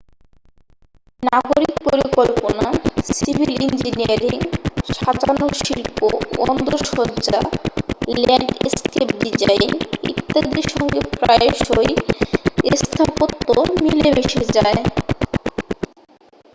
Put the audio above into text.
নাগরিক পরিকল্পনা civil engineering সাজানোর শিল্প অন্দরসজ্জা ল্যান্ডস্কেপ ডিজাইন ইত্যাদির সঙ্গে প্রায়শই স্থাপত্য মিলেমিশে যায়